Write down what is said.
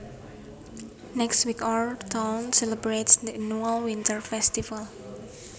Next week our town celebrates the annual winter festival